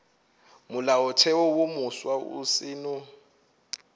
molaotheo wo mofsa o seno